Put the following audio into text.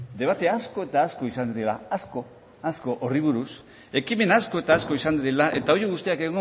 debate asko eta asko izan dira horri buruz ekimen asko eta asko izan direla eta horiek guztiak